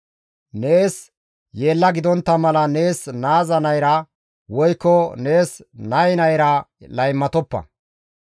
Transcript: «Nees yeella gidontta mala nees naaza nayra, woykko nees nay nayra laymatoppa.